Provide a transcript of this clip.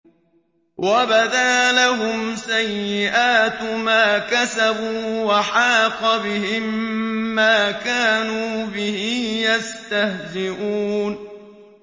وَبَدَا لَهُمْ سَيِّئَاتُ مَا كَسَبُوا وَحَاقَ بِهِم مَّا كَانُوا بِهِ يَسْتَهْزِئُونَ